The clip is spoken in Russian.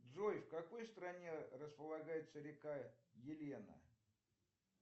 джой в какой стране располагается река елена